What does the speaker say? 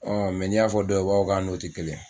n'i y'a fɔ dɔw ye o b'a fɔ k'a n'o tɛ kelen.